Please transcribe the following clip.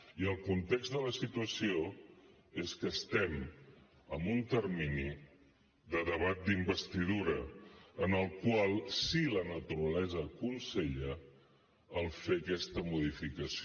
i el context de la situació és que estem en un termini de debat d’investidura en el qual sí que la naturalesa aconsella fer ne aquesta modificació